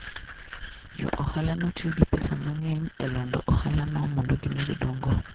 Jo ohalano tiyo gi pesa mang'eny e lando ohalano mondo gimed dongo.